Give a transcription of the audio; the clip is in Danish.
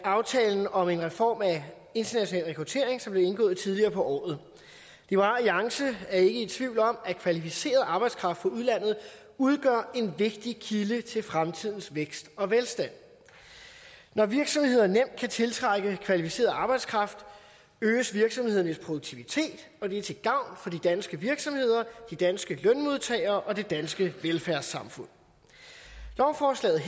af aftalen om en reform af international rekruttering som blev indgået tidligere på året liberal alliance er ikke i tvivl om at kvalificeret arbejdskraft fra udlandet udgør en vigtig kilde til fremtidens vækst og velstand når virksomheder nemt kan tiltrække kvalificeret arbejdskraft øges virksomhedernes produktivitet og det er til gavn for de danske virksomheder de danske lønmodtagere og det danske velfærdssamfund lovforslaget